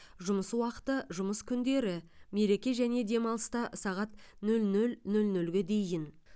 жұмыс уақыты жұмыс күндері мереке және демалыста сағат нөл нөл нөл нөлге дейін